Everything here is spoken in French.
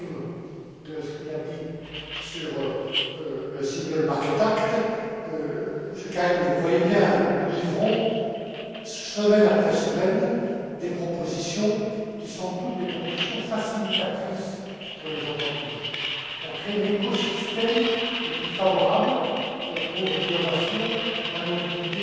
M. Karim de ce qu'il a dit sur le single market act Monsieur Karim, vous le voyez bien, nous livrons, semaine après semaine, des propositions qui sont toutes des propositions facilitatrices pour les entreprises, pour créer l'écosystème le plus favorable pour l'innovation, la mobilité,